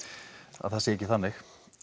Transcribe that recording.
það sé ekki þannig